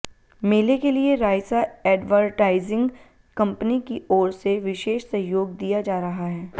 मेले के लिए राइसा एडवरटाइजिंग कंपनी की ओर से विशेष सहयोग दिया जा रहा है